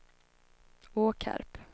Åkarp